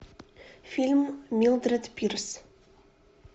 фильм милдред пирс